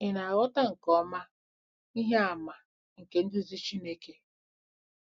Ị̀ na-aghọta nke ọma ihe àmà nke nduzi Chineke?